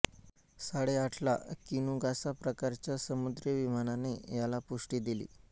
साडेआठला Kinugasa प्रकारच्या समुद्री विमानाने याला पुष्टी दिली